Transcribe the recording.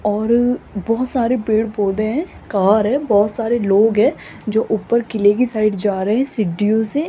और बहोत सारे पेड़-पौधे हैं कार है बहोत सारे लोग हैं जो ऊपर किले की साइड जा रहे हैं सीडीओ से --